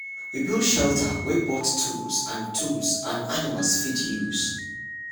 we build shelter wey both tools and tools and animals fit use.